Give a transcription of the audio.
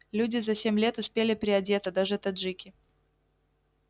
люди за семь лет успели приодеться даже таджики